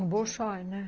O bolchói, né?